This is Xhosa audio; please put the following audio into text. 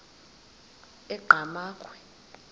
enqgamakhwe